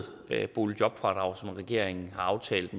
boligjobfradrag som regeringen har aftalt